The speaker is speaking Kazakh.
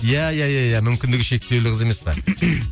иә иә иә иә мүмкіндігі шектеулі қыз емес пе